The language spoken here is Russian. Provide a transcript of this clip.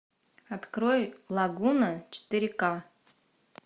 открой лагуна четыре ка